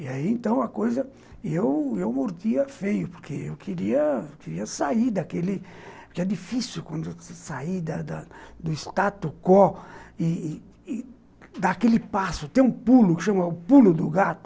E aí, então, a coisa... eu eu mordia feio, porque eu queria queria sair daquele... porque é difícil, quando você sair da da do status quo e dar aquele passo, ter um pulo, o pulo do gato,